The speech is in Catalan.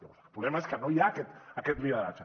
el problema és que no hi ha aquest lideratge